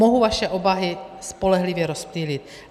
Mohu vaše obavy spolehlivě rozptýlit.